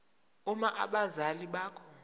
uma abazali bakho